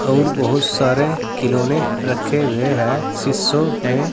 और बहुत सारे खिलौने रखे हुए हैं शीशो में।